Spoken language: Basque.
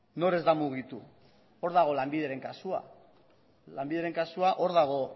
nor ez da mugitu hor dago lanbideren kasua lanbideren kasua hor dago